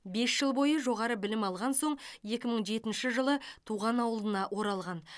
бес жыл бойы жоғары білім алған соң екі мың жетінші жылы туған ауылына оралған